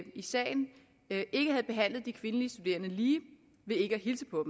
sagen ikke havde behandlet de kvindelige studerende lige ved ikke